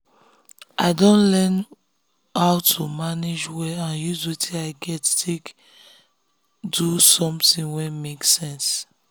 i don learn how to manage well and use wetin i get take get take do something wey make sense.